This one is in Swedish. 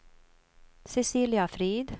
Cecilia Frid